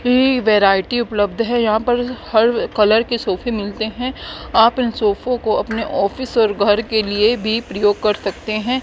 ये वैरायटी उपलब्ध है यहां पर हर कलर के सोफे मिलते हैं आप इन सोफों को अपने ऑफिस और घर के लिए भी प्रयोग कर सकते हैं।